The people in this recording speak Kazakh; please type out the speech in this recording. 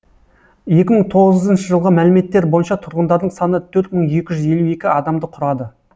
екі мың тоғызыншы жылғы мәліметтер бойынша тұрғындарының саны төрт мың екі жүз елу екі адамды құрады